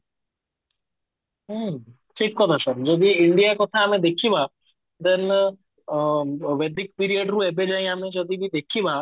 ହୁଁ ଠିକ କଥା sir ଯଦି India କଥା ଆମେ ଦେଖିବା then ଅ period ରୁ ଏବେ ଯାଏଁ ଆମେ ଯଦି ବି ଦେଖିବା